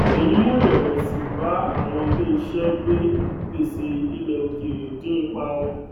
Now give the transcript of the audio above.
èyí mú irèwèsì bá àwọn ilé iṣẹ gbè gbèsè ilẹ òkèèrè dín ipa wọn